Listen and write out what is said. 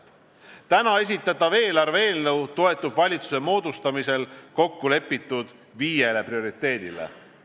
Täna esitatav eelarve eelnõu toetub valitsuse moodustamisel kokku lepitud viiele prioriteedile.